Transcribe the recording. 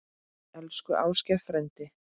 Elsku Ásgeir frændi.